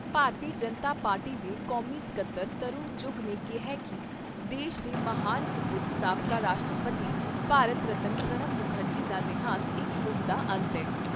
ਭਾਰਤੀ Janata party ਦੇ ਕੌਮੀ ਸਕੱਤਰ ਤਰੁਣ ਚੁੱਘ ਨੇ ਕਿਹਾ ਕਿ ਦੇਸ਼ ਦੇ ਮਹਾਨ ਸਪੂਤ ਸਾਬਕਾ ਰਾਸ਼ਟਰਪਤੀ ਭਾਰਤ ਰਤਨ ਪ੍ਰਣਬ ਮੁਖਰਜੀ ਦਾ ਦੇਹਾਂਤ ਇਕ ਯੁੱਗ ਦਾ ਅੰਤ ਏ।